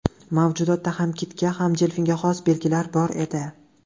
Mavjudotda ham kitga, ham delfinga xos belgilar bor edi.